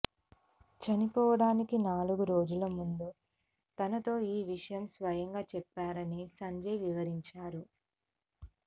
చనిపోవడానికి నాలుగు రోజుల ముందు తనతో ఈ విషయం స్వయంగా చెప్పారని సంజయ్ వివరించారు